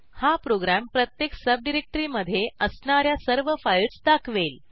हा प्रोग्रॅम प्रत्येक सबडिरेक्टरीमधे असणा या सर्व फाईल्स दाखवेल